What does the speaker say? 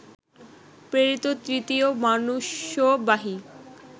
প্রেরিত তৃতীয় মনুষ্যবাহী